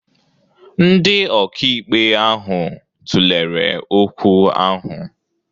Ndị ọkàikpe ahụ tụlere okwu ahụ.